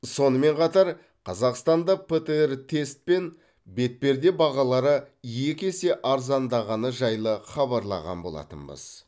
сонымен қатар қазақстанда птр тест пен бетперде бағалары екі есе арзандағаны жайлы хабарлаған болатынбыз